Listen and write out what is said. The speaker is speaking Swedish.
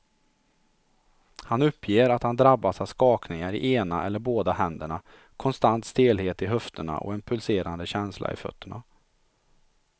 Han uppger att han drabbas av skakningar i ena eller båda händerna, konstant stelhet i höfterna och en pulserande känsla i fötterna.